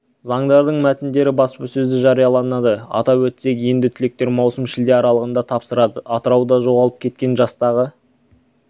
заңдардың мәтіндері баспасөзда жарияланады атап өтсек енді түлектер маусым шілде аралығында тапсырады атырауда жоғалып кеткен жастағы